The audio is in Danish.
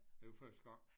Det var første gang